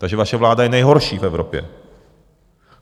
Takže vaše vláda je nejhorší v Evropě.